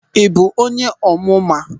Ị bụ onye Ọmụma?